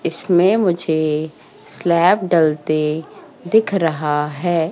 इसमें मुझे स्लैब डलते दिख रहा है।